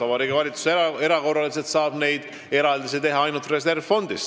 Vabariigi Valitsus saab erakorraliselt eraldisi teha ainult reservfondist.